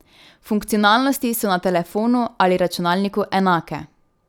Funkcionalnosti so na telefonu ali računalniku enake.